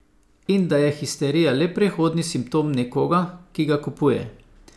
In da je histerija le prehodni simptom nekoga, ki ga kupuje.